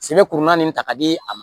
Sebe kuru naani de ta k'a di a ma